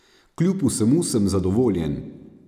Kljub vsemu sem zadovoljen.